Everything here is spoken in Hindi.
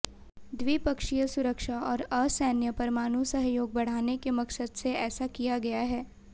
द्विपक्षीय सुरक्षा और असैन्य परमाणु सहयोग बढ़ाने के मकसद से ऐसा किया गया है